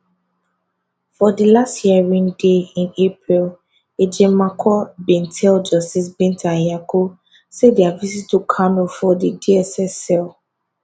for dilast hearing day in april ejimakor bin tell justice binta nyako say dia visit to kanu for di dss cell